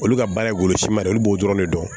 Olu ka baara ye golosiman de ye olu b'o dɔrɔn de dɔn